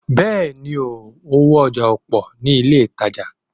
Bẹ́ẹ̀ni, owó ọjà ò pọ̀ ní ilé ìtajà